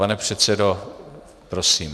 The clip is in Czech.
Pane předsedo, prosím.